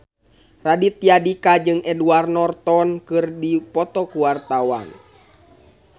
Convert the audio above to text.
Raditya Dika jeung Edward Norton keur dipoto ku wartawan